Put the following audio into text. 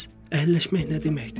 Bəs əhəlləşmək nə deməkdir?